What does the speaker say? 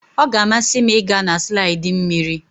Ọ ga-amasị m ịga na slaidi mmiri.